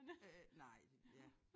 Øh nej det ja